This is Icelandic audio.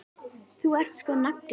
Þú ert sko nagli.